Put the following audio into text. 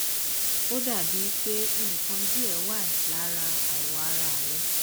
ó dà bíi pé nǹkan díẹ wà lára awọ ara rẹ